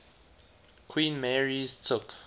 queen mary's took